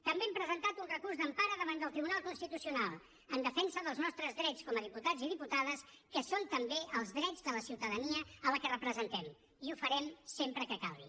també hem presentat un recurs d’empara davant del tribunal constitucional en defensa dels nostres drets com a diputats i diputades que són també els drets de la ciutadania a la que representem i ho farem sempre que calgui